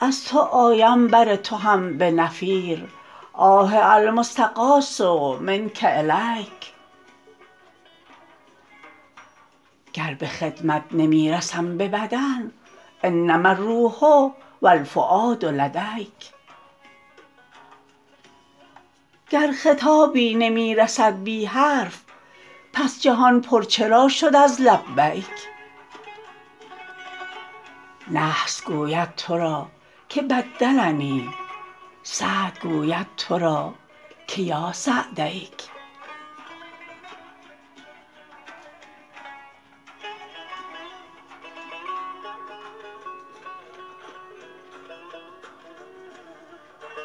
از تو آیم بر تو هم به نفیر آه المستغاث منک الیک گر به خدمت نمی رسم به بدن انما الروح و الفؤاد لدیک گر خطابی نمی رسد بی حرف پس جهان پر چرا شد از لبیک نحس گوید تو را که بدلنی سعد گوید تو را که یا سعدیک